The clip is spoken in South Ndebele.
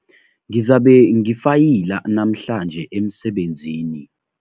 Ngizabe ngifayila namhlanje emsebenzini.